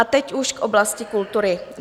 A teď už k oblasti kultury.